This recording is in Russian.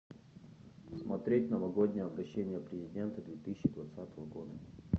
смотреть новогоднее обращение президента две тысячи двадцатого года